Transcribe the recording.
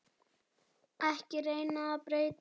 Ekki reyna að breyta mér.